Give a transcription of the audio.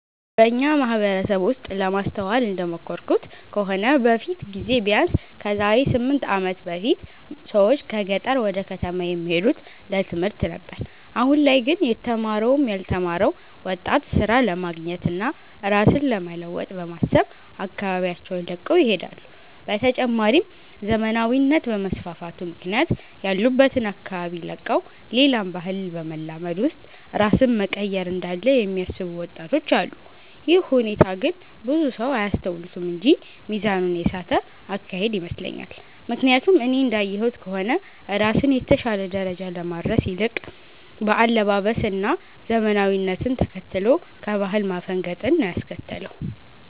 በኛ ማህበረሰብ ውስጥ ለማስተዋል እንደሞከርኩት ከሆነ በፊት ጊዜ ቢያነስ ከዛሬ 8 አመት በፊት ብዙ ሰዎች ከገጠር ወደ ከተማ የሚሄዱት ለትምህርት ነበር አሁን ላይ ግን የተማረውም ያልተማረው ወጣት ስራ ለማግኘት እና ራስን ለመለወጥ በማሰብ አካባቢያቸውን ለቀው ይሄዳሉ። በተጨማሪም ዘመናዊነት በመስፋፋቱ ምክንያት ያሉበትን አካባቢ ለቀው ሌላን ባህል በማላመድ ውስጥ ራስን መቀየር እንዳለ የሚያስቡ ወጣቶች አሉ። ይህ ሁኔታ ግን ብዙ ሰው አያስተውሉትም እንጂ ሚዛኑን የሳተ አካሄድ ይመስለኛል። ምክያቱም እኔ እንዳየሁት ከሆነ ራስን የተሻለ ደረጃ ከማድረስ ይልቅ በአለባበስ እና ዘመናዊነትን ተከትሎ ከባህል ማፈንገጥን ነው ያስከተለው።